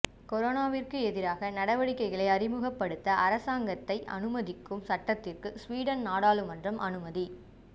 கொரோனாவிற்கு எதிரான நடவடிக்கைகளை அறிமுகப்படுத்த அரசாங்கத்தை அனுமதிக்கும் சட்டத்திற்கு சுவீடன் நாடாளுமன்றம் அனுமதி